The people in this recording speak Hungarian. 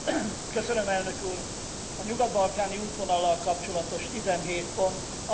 A nyugat balkáni útvonallal kapcsolatos 17 pont azt gondolom, fontos eredmény.